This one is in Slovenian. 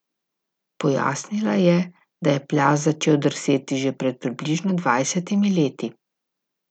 Pojasnila je, da je plaz začel drseti že pred približno dvajsetimi leti.